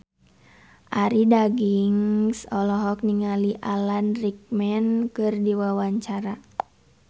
Arie Daginks olohok ningali Alan Rickman keur diwawancara